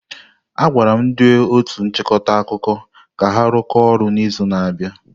A gwala ndị otu nchịkọta akụkọ ka ha rụkọọ ọrụ n'izu na-abịa.